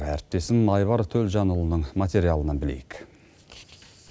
әріптесім айбар төлжанұлының материалынан білейік